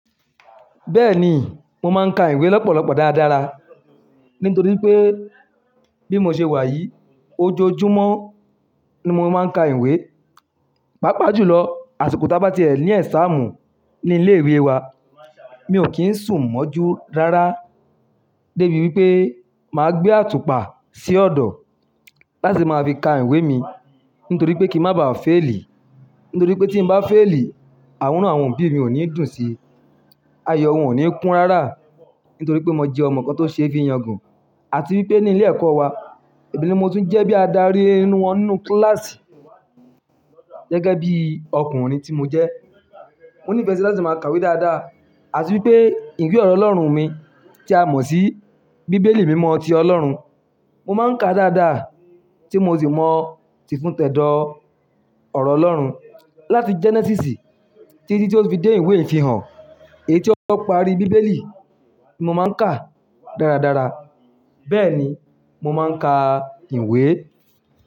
Bẹ́ẹ̀ni, mo máa ń ka ìwé lọ́pọ̀lọpọ̀ dáradára nítorí pé bí mo ṣe wà yìí, ojoojúmọ́ ni mo máa ń ka ìwé. Pápa jùlọ, àsìko ti ábá tíẹ̀ ni examu ní ilé ìwé wa, mi ò kí ń sùn mọ́jú rárá débi wípé màá gbé àtùpà sí ọ̀dọ̀ láti máa fi ka ìwé mi nítorí pé kí má ba fẹ́i li. Nítorí pé tí mo bá fẹ́ li, Inu àwọn òbí mi ò ní dùn síi. Ayo wọn ò ní kún rárá nítorí pé mo jẹ́ ọmọ kan tió ṣe fi yangàn. Àti wípé ní ilé ẹ̀kọ́ wa, èmi ni mo tún jẹ́ bí a darí inú wọn nínú kíláàsì gẹ́gẹ́ bí ọkùnrin tí mo jẹ́. Mo ní ìfẹ́ láti máa kàwé dáadáa. Àti wípé ìwé ọ̀rọ̀ Ọlọ́run mi tí a mọ̀ sí bíbélì mímọ́ ti Ọlọ́run, mo máa ń ka dáadáa tí mo sì mọ̀ tìfun tẹ̀dọ̀ ọ̀rọ̀ Ọlọ́run láti Genesis títí tí ó fi dé ìwé Ìfihàn. Èyí tí ó pari bíbélì ni mo máa ń kà dáradára. Bẹ́ẹ̀ni, mo máa ń ka ìwé.